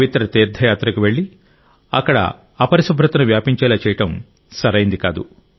పవిత్ర తీర్థయాత్రకు వెళ్ళి అక్కడ అపరిశుభ్రతను వ్యాపించేలా చేయడం సరైంది కాదు